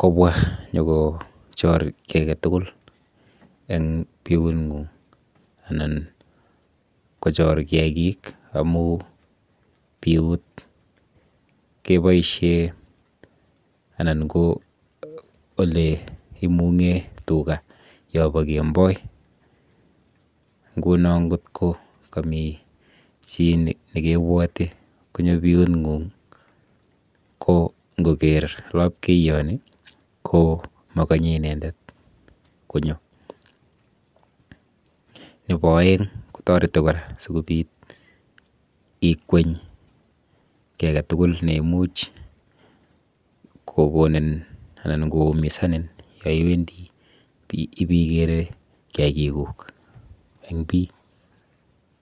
kobwa nyokochor kiy aketugul eng biung'ung anan kochor kiakik amu piut keboishe anan ko olenung'e tuga yopo kemboi nguno nkot ko kami chi nekebwoti konyo biung'ung ko nkoker lapkeyoni ko makonye inendet konyo. Nepo oeng kotoreti kora sikobit ikweny kiy aketugul neimuch kokonin anan koumisanin yoiwendo ipikere kiakikuk eng piy.